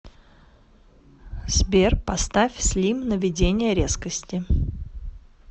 сбер поставь слим наведение резкости